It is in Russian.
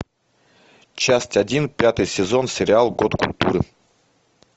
часть один пятый сезон сериал год культуры